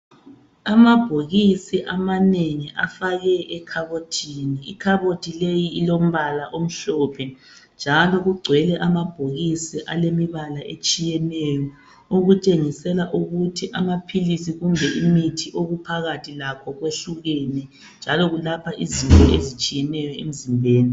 Amabhokisi amanengi afakwe ekhabothini. Ikhabothi leyi ilombala omhlophe njalo kugcwele amabhokisi alemibala etshiyeneyo. Okutshengisela ukuthi amaphilisi kumbe imithi okuphakathi lakho kwehlukene njalo kulapha izifo ezitshiyeneyo emzimbeni.